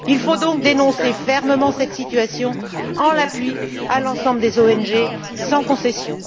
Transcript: Il faut donc dénoncer fermement cette situation pour soutenir l'ensemble des ONG, sans concession.